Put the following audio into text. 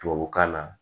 Tubabukan na